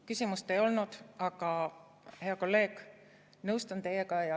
Küsimust ei olnud, aga, hea kolleeg, nõustun teiega.